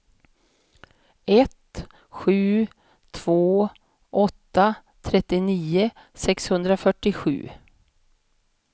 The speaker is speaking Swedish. ett sju två åtta trettionio sexhundrafyrtiosju